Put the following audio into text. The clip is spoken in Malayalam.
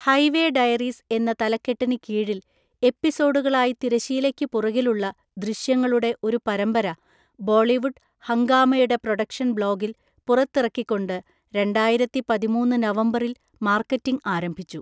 ഹൈവേ ഡയറീസ് എന്ന തലക്കെട്ടിന് കീഴിൽ എപ്പിസോഡുകളായി തിരശ്ശീലയ്ക്കുപുറകിലുള്ള ദൃശ്യങ്ങളുടെ ഒരു പരമ്പര ബോളിവുഡ് ഹംഗാമായുടെ പ്രൊഡക്ഷൻ ബ്ലോഗിൽ പുറത്തിറക്കിക്കൊണ്ട് രണ്ടായിരത്തിപതിമൂന്ന് നവംബറിൽ മാർക്കറ്റിങ് ആരംഭിച്ചു.